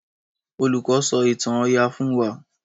Olùkó sọ ìtàn oyà fún wá.